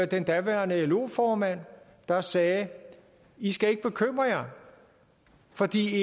den daværende lo formand der sagde i skal ikke bekymre jer fordi